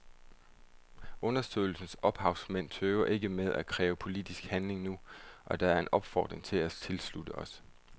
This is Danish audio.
Undersøgelsens ophavsmænd tøver ikke med at kræve politisk handling nu, og det er en opfordring vi tilslutter os.